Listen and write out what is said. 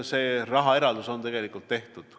See rahaeraldus on tehtud.